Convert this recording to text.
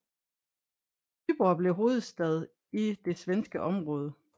Vyborg blev hovedstad i det svenske område